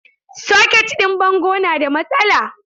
Socket ɗin bango na da matsala.